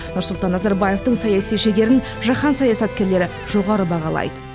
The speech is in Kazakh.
нұрсұлтан назарбаевтың саяси жігерін жаһан саясаткерлері жоғары бағалайды